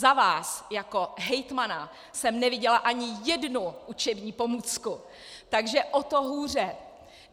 Za vás jako hejtmana jsem neviděla ani jednu učební pomůcku, takže o to hůře!